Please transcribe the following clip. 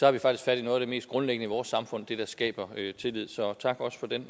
har vi faktisk fat i noget af det mest grundlæggende i vores samfund nemlig det der skaber tillid så tak også for den